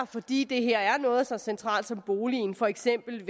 fordi det her er noget så centralt som boligen for eksempel